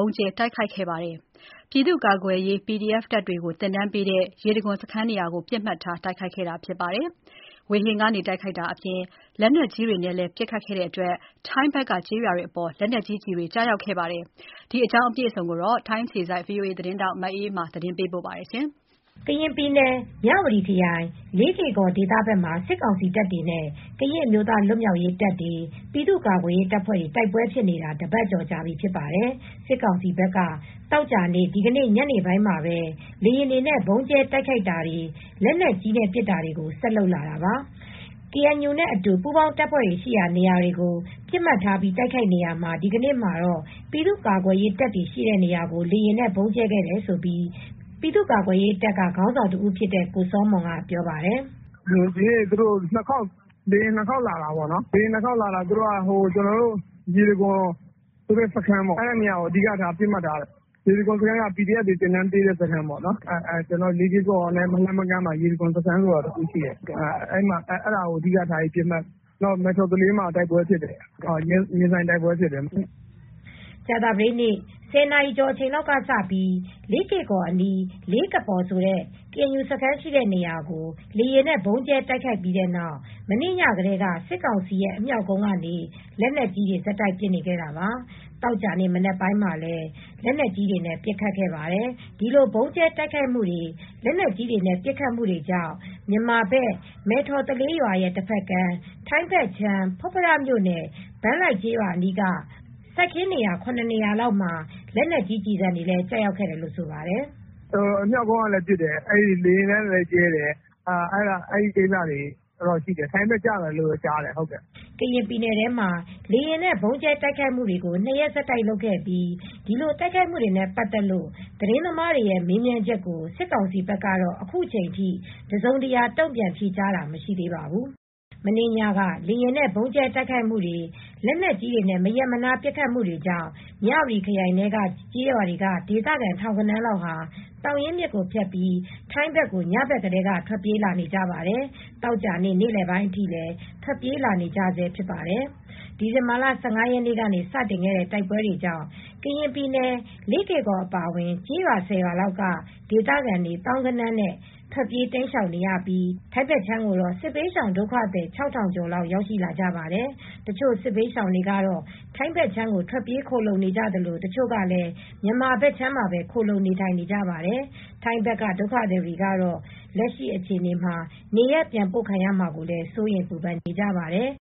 ုံးကြဲတိုက်ခိုက်ခဲ့ပါတယ်။ ပြည်သူ့ကာကွယ်ရေးတပ်ဖွဲ့ PDF တွေကို သင်တန်းပေးတဲ့ ရေတံခွန်စခန်းနေရာကို လေကြောင်းက တိုက်ခိုက်ခဲ့တာလို့ ဆိုပါတယ်။ စစ်ကောင်စီက လေယာဉ်နဲ့ဗုံးကြဲတာအပြင် လက်နက်ကြီးတွေနဲ့ပါပစ်ခတ်တာတွေကြောင့် ထိုင်းဘက်က ကျေးရွာတွေကိုလည်းလက်နက် ကြီးကျည်တွေ ကျရောက်ခဲ့ပါတယ်။ ဒီသတင်းကို ထိုင်းအခြေစိုက် ဗွီအိုအေသတင်းထောက် မအေးအေးမာက သတင်းပေးပို့ထားပါတယ်။ ကရင်ပြည်နယ် မြဝတီခရိုင် လေးကေ့ကော်ဒေသဘက်မှာ စစ်ကောင်စီတပ်တွေနဲ့ ကရင်အမျိုးသား လွတ်မြောက်ရေးတပ်တွေ၊ ပြည်သူ့ကာကွယ်ရေးတပ်ဖွဲ့တွေ တိုက်ပွဲဖြစ်နေတာ တပတ်ကျော် ကြာ နေပါပြီ။ သောကြာနေ့ဒီကနေ့ ညနေပိုင်းမှာ စစ်ကောင်စီဘက်က လေယာဉ်တွေနဲ့ ဗုံးကြဲ တိုက်ခိုက် တာတွေ၊ လက်နက်ကြီးနဲ့ပစ်တာတွေကို ဆက်လုပ်လာတာပါ။ ကေအန်ယူနဲ့အတူ ပူးပေါင်းတပ်ဖွဲ့တွေ ရှိရာနေရာတွေကို ပစ်မှတ်ထားပြီးတိုက်ခိုက်နေရာမှာ ဒီကနေ့မှာတော့ ပြည်သူ့ကာကွယ်ရေးတပ်တွေ ရှိရာနေရာကို လေယာဉ်နဲ့ဗုံးကြဲခဲ့တယ်လို့ ပြည်သူ့ကာကွယ်ရေးတပ်က ခေါင်းဆောင်တဦးဖြစ်တဲ့ ကိုစောမွန်ကပြောပါတယ်။ “ဒီနေ့ လေယာဉ်နဲ့ ၂ ခေါက်လာတာ။ ကျနော်တို့ ရေတံခွန်ဆိုတဲ့စခန်းကို အဓိကထားတယ်။ လေး ကေ့ကော်နဲ့ မလှမ်းမကမ်းမှာ ရေတံခွန်စခန်းဆိုတဲ့ PDF တွေကို သင်တန်းပေးတဲ့ စခန်းရှိတယ်။ အဲဒီနေရာကိုပစ်မှတ်ထားတယ်။ နောက် မဲ့ထော်သလေးမှာ တိုက်ပွဲဖြစ်တယ်။ ရင်ဆိုင်တိုက်ပွဲတွေဖြစ်တယ်။” ကြာသပတေးနေ့ည ၁၀ နာရီကျော်အချိန်ကစပြီး လေးကေ့ကော်အနီးက လေးကပေါ် ဆိုတဲ့ ကေအန်ယူ စခန်းရှိတဲ့နေရာကို လေယာဉ်နဲ့ဗုံးကြဲတိုက်ခိုက်ခဲ့ပြီးနောက် စစ်ကောင်စီရဲ့ အမြောက် ကုန်းကနေ လက်နက်ကြီးတွေဆက်တိုက်ပစ်နေခဲ့တာပါ။သောကြာနေ့ မနက်ပိုင်းမှာလည်း လက်နက်ကြီးတွေပစ်ခတ်ခဲ့ပါတယ်။ ဒီလို ဗုံးကြဲတိုက်ခိုက်မှုတွေ၊ လက်နက်ကြီးနဲ့ပစ်ခတ်မှုတွေကြောင့် မြန်မာဘက်က မဲ့ထော်သလေးရဲ့တဘက်ကမ်း ထိုင်းဘက်ခြမ်း ဖွတ်ဖရမြို့နယ် ဘန်းလိုက်ကျေးရွာ အနီးက စိုက်ခင်း ၇ နေရာလောက်မှာ လက်နက်ကြီးကျည်ဆံတွေကျရောက်ခဲ့တယ်လို့လည်း ဆိုပါတယ်။ “အမြောက်ကုန်းကလည်း ပစ်တယ်။ လေယာဉ်နဲ့ကြဲတာ ထိုင်းဘက်ကိုလည်းကျတယ်လို့ ကြားပါတယ်။” ကရင်ပြည်နယ်ထဲမှာ ၂ ရက်ဆက်တိုက် လေယာဉ်နဲ့ ဗုံးကြဲတိုက်ခိုက်ခဲ့ပြီး ဒီလိုတိုက်ခိုက်မှုတွေနဲ့ ပတ်သက်လို့ သတင်းသမားတွေရဲ့မေးမြန်းချက်ကို စစ်ကောင်စီဘက်က အခုချိန်ထိ တစုံတရာ တုံ့ပြန်ဖြေကြားတာမရှိသေးပါဘူး။ မနေ့ညက လေယာဉ်နဲ့ဗုံးကြဲတိုက်ခိုက်တာ၊ လက်နက်ကြီးတွေနဲ့ မရပ်မနားပစ်ခတ်တာတွေကြောင့်မြဝတီခရိုင်ထဲရှိတဲ့ကျေးရွာတွေက ဒေသခံ ထောင်ဂဏန်းလောက်ဟာ သောင်ရင်းမြစ်ကို ဖြတ်ပြီး ထိုင်းဘက်ကို ညဘက်ကတည်းက ထွက်ပြေးလာနေကြပါတယ်။ သောကြာနေ့ နေ့လယ်ပိုင်း အထိလည်း ထွက်ပြေးလာနေကြဆဲဖြစ်ပါတယ်။ ဒီဇင်ဘာလ ၁၅ ရက်နေ့ကတည်းက စတင်ခဲ့တဲ့ တိုက်ပွဲတွေကြောင့် ကရင်ပြည်နယ် လေးကေ့ကော် အပါအဝင် ကျေးရွာ ၁၀ ရွာလောက်က ဒေသခံတွေ သောင်းဂဏန်းနဲ့ချီ ထွက်ပြေးတိမ်းရှောင်နေရပြီး ထိုင်းဘက်ခြမ်းကိုတော့ စစ်ဘေးရှောင်ဒုက္ခသည် ၆,၀၀၀ ကျော်လောက်ရောက်ရှိလာကြပါတယ်။ တချို့စစ်ဘေးရှောင်တွေက ထိုင်းဘက်ခြမ်းကို ထွက်ပြေးခိုလှုံနေကြသလို တချို့ကလည်း မြန်မာဘက်ခြမ်းမှာပဲ ခိုလှုံနေထိုင်နေကြပါတယ်။ ထိုင်းဘက်က ဒုက္ခသည်တွေကတော့ လက်ရှိအခြေအနေမှာ နေရပ်ပြန်ပို့ခံရမှာကိုလည်း စိုးရိမ်ပူပန်နေကြပါတယ်